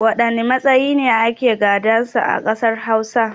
Waɗanne matsayi ne ake gadan sa a ƙasar Hausa?